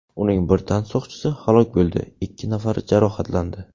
Uning bir tansoqchisi halok bo‘ldi, ikki nafari jarohatlandi.